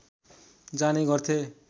जाने गर्थे